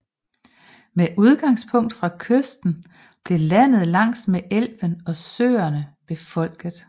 Med udgangspunkt fra kysten blev landet langs med elvene og søerne befolket